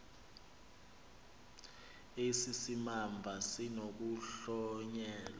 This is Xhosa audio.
esi simamva sinokuhlonyelwa